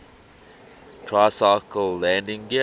tricycle landing gear